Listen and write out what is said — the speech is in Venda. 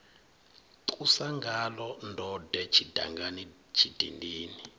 ṱusa ngaḽo ndode tshidangani tshidindini